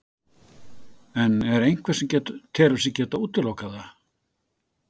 En er einhver sem telur sig geta útilokað það?